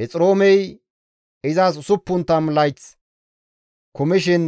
Hexiroomey izas 60 layth kumishin